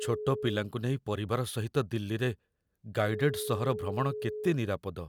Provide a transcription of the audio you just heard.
ଛୋଟ ପିଲାଙ୍କୁ ନେଇ ପରିବାର ସହିତ ଦିଲ୍ଲୀରେ ଗାଇଡେଡ଼ ସହର ଭ୍ରମଣ କେତେ ନିରାପଦ?